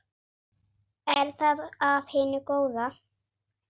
Er það af hinu góða?